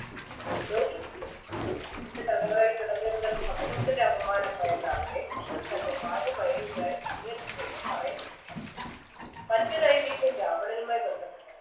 മോചിപ്പിക്കുകയും ചെയ്തു അസുരന്റെ തടവറയിൽ കിടന്നിരുന്നതിൽ സമൂഹത്തിൻറെ അപമാനം ഭയന്ന അവരെ കൃഷ്ണൻ തൻറെ ഭാര്യ മയരായി എന്നും പറയപ്പെടുന്നു മറ്റൊരു ഐതിഹ്യം രാവണനുമായി ബന്ധപ്പെട്ട